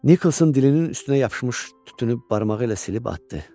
Nikkelsin dilinin üstünə yapışmış tütünü barmağı ilə silib atdı.